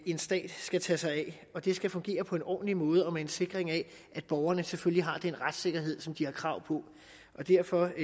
en stat skal tage sig af og det skal fungere på en ordentlig måde og med en sikring af at borgerne selvfølgelig har den retssikkerhed som de har krav på derfor